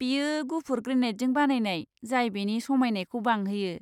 बेयो गुफुर ग्रेनाइटजों बानायनाय जाय बेनि समायनायखौ बांहोयो।